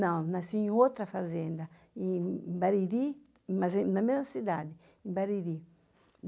Não, nasci em outra fazenda, em Bariri, mas é na mesma cidade, em Bariri.